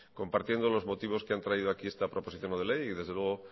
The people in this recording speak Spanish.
compartiendo los motivos que han traído aquí esta proposición no de ley y desde luego